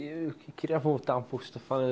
Eu queria voltar um